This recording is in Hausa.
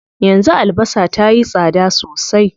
Yanzu albasa tayi tsada sosai.